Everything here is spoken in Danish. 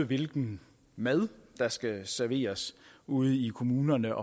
hvilken mad der skal serveres ude i kommunerne